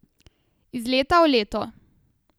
Iz leta v leto.